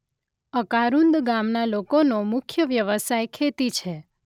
અકારુંદ ગામના લોકોનો મુખ્ય વ્યવસાય ખેતી છે.